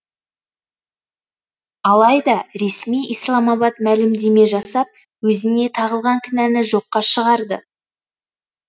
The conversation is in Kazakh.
алайда ресми исламабад мәлімдеме жасап өзіне тағылған кінәні жоққа шығарды